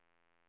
ålder